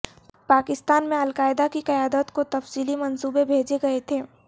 پاکستان میں القاعدہ کی قیادت کو تفصیلی منصوبے بھیجے گئے تھے